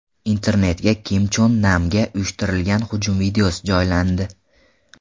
Internetga Kim Chon Namga uyushtirilgan hujum videosi joylandi .